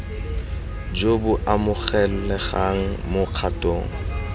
jo bo amogelegang mo kgatong